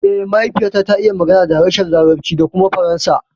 Eh, mahaifiyata ta iya magana da harshen larabci da kuma faransa